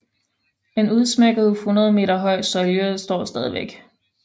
En udsmykket 100 meter høj søjle står stadigvæk